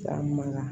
Taa man kan